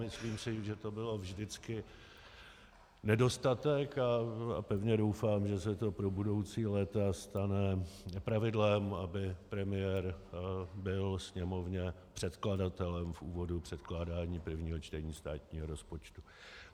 Myslím si, že to byl vždycky nedostatek, a pevně doufám, že se to pro budoucí léta stane pravidlem, aby premiér byl Sněmovně předkladatelem v úvodu předkládání prvního čtení státního rozpočtu.